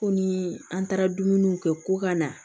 Ko ni an taara dumuniw kɛ ko ka na